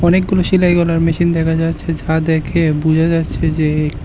অনেকগুলো সেলাই করার মেশিন দেখা যাচ্ছে যা দেখে বুঝা যাচ্ছে যে--